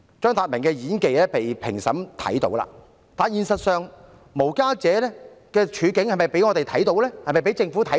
張達明的演技，評審都看到了，但現實中，無家者的處境有否被世人和政府所見？